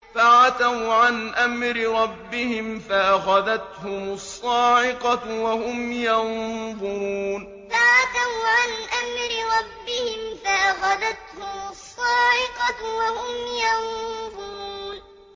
فَعَتَوْا عَنْ أَمْرِ رَبِّهِمْ فَأَخَذَتْهُمُ الصَّاعِقَةُ وَهُمْ يَنظُرُونَ فَعَتَوْا عَنْ أَمْرِ رَبِّهِمْ فَأَخَذَتْهُمُ الصَّاعِقَةُ وَهُمْ يَنظُرُونَ